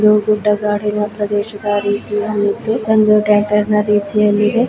ಇದು ಗುಡ್ಡ ಗಾಡಿನ ಪ್ರದೇಶದ ರೀತಿ ಅಲ್ಲಿದ್ದು ಒಂದು ಟ್ಯಾಂಕರ್ ನಾ ರೀತಿ ಅಲ್ಲಿದೆ.